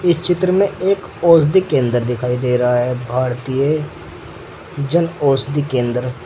चित्र में एक औषधि केंद्र दिखाई दे रहा है भारतीय जन औषधि केंद्र।